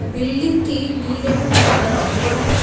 Building -টি নীল এবং সাদা রং করা।